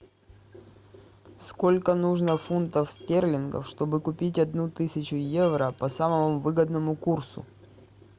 сколько нужно фунтов стерлингов чтобы купить одну тысячу евро по самому выгодному курсу